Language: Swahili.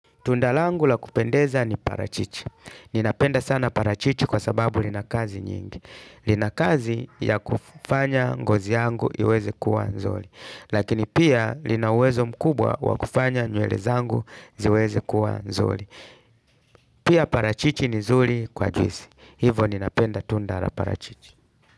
Tunda langu la kupendeza ni parachichi. Ninapenda sana parachichi kwa sababu linakazi nyingi. Linakazi ya kufanya ngozi yangu iweze kuwa nzuri. Lakini pia lina uwezo mkubwa wakufanya nywele zangu ziweze kuwa nzuri. Pia parachichi ni zuri kwa juisi. Hivo ninapenda tunda la parachichi.